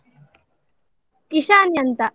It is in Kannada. ಇಶಾನಿ ಅಂತ.